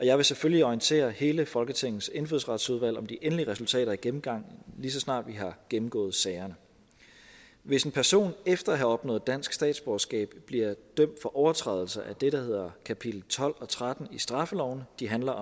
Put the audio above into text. jeg vil selvfølgelig orientere hele folketingets indfødsretsudvalg om de endelige resultater af gennemgangen lige så snart vi har gennemgået sagerne hvis en person efter at have opnået dansk statsborgerskab bliver dømt for overtrædelse af det der hedder kapitel tolv og tretten i straffeloven de handler